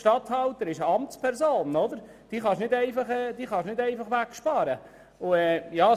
Ein Regierungsstatthalter ist eine Amtsperson, die man nicht einfach wegsparen kann.